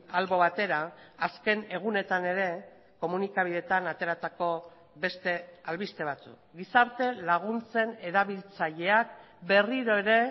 albo batera azken egunetan ere komunikabideetan ateratako beste albiste batzuk gizarte laguntzen erabiltzaileak berriro ere